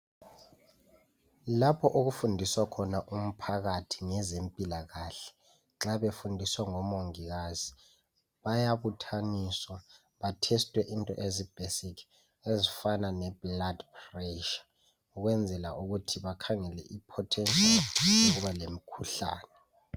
Lapho okufundiswa khona umphakathi ngezempilakahle nxa befundiswa ngomongikazi bayabuthaniswa bahlolwe into ezi basic ezifana lomfutho wegazi ukwenzela ukuthi bakhangele ipotential yokuba lemikhuhlane.